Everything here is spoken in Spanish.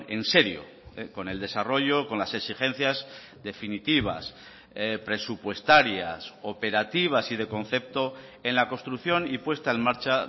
en serio con el desarrollo con las exigencias definitivas presupuestarias operativas y de concepto en la construcción y puesta en marcha